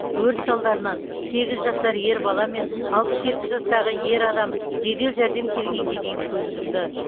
өрт салдарынан сегіз жасар ер бала мен алпыс жеті жастағы ер адам жедел жәрдем келгенге дейін көз жұмды